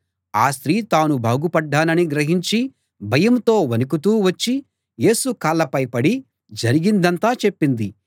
ఆ స్త్రీ తాను బాగుపడ్డానని గ్రహించి భయంతో వణుకుతూ వచ్చి యేసు కాళ్ళపై పడి జరిగిందంతా చెప్పింది